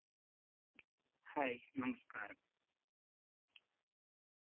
hi, നമസ്കാരം.